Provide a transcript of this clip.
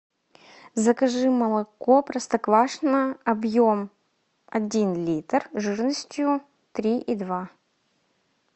закажи молоко простоквашино объем один литр жирностью три и два